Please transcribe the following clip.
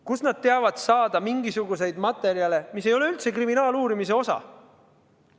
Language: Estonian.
Kust nad teavad saada mingisuguseid materjale, mis ei ole üldse kriminaaluurimise osa?